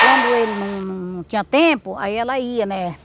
Quando ele não tinha tempo, aí ela ia, né?